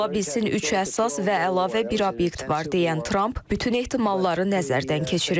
Ola bilsin üç əsas və əlavə bir obyekt var deyən Tramp, bütün ehtimalları nəzərdən keçirir.